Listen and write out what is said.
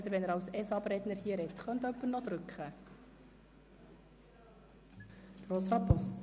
Ich erteile nun das Wort an Grossrat Boss zum Antrag GSoK-Minderheit